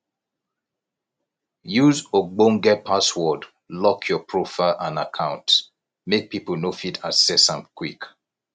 use ogbonge password lock your profile and accounts make pipo no fit access am quick